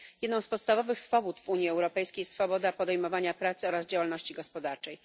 Jedną z podstawowych swobód w Unii Europejskiej jest swoboda podejmowania pracy oraz działalności gospodarczej.